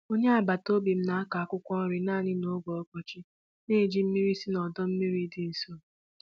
Onye agbata obi m na-akụ akwụkwọ nri naanị n'oge ọkọchị, na-eji mmiri si n'ọdọ mmiri dị nso.